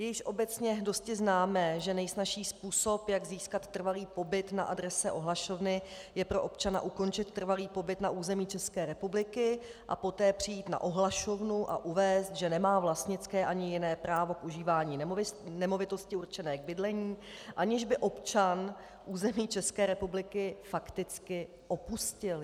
Je již obecně dosti známé, že nejsnazší způsob, jak získat trvalý pobyt na adrese ohlašovny, je pro občana ukončit trvalý pobyt na území České republiky a poté přijít na ohlašovnu a uvést, že nemá vlastnické ani jiné právo k užívání nemovitosti určené k bydlení, aniž by občan území České republiky fakticky opustil.